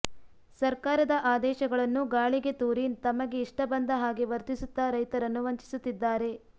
ಸರ್ಕಾರದ ಆದೇಶಗಳನ್ನು ಗಾಳಿಗೆ ತೂರಿ ತಮಗೆ ಇಷ್ಟ ಬಂದ ಹಾಗೆ ವರ್ತಿಸುತ್ತಾ ರೈತರನ್ನು ವಂಚಿಸುತ್ತಿದ್ದಾರೆ